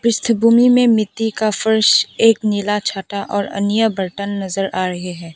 पृष्ठ भूमि में मिट्टी का फर्श एक नीला छाता और अन्य बर्तन नजर आ रहे हैं।